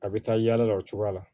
A bɛ taa yaala la o cogoya la